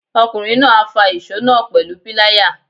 Ọkùnrin náà á fa ìsó náà pẹ̀lú píláyà.